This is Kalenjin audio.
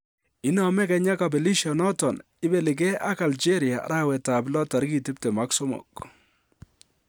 Inome Kenya kobelisioniton ibeligee ak Algeria arawet ab lo 23.